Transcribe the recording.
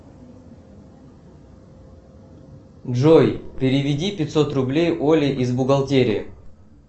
джой переведи пятьсот рублей оле из бухгалтерии